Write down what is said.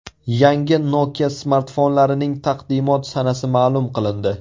Yangi Nokia smartfonlarining taqdimot sanasi ma’lum qilindi.